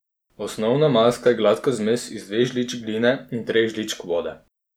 Osnovna maska je gladka zmes iz dveh žličk gline in treh žličk vode.